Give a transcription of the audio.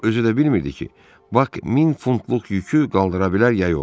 O özü də bilmirdi ki, Bak min funtluq yükü qaldıra bilər ya yox.